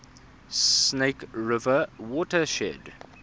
snake river watershed